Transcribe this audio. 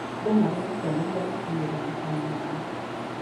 Andũ marerutanĩria gũkinyĩra matanya mao.